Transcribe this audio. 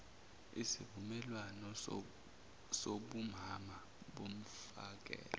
isivumelwane sobumama bomfakela